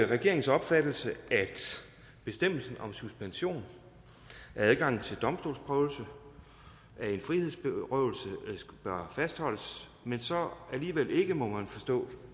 regeringens opfattelse at bestemmelsen om suspension af adgangen til domstolsprøvelse af en frihedsberøvelse bør fastholdes men så alligevel ikke må man forstå